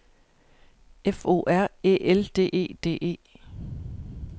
F O R Æ L D E D E